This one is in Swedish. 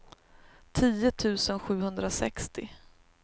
tio tusen sjuhundrasextio